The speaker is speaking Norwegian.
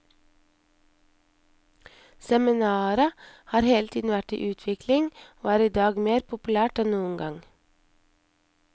Seminaret har hele tiden vært i utvikling, og er idag mer populært enn noen gang.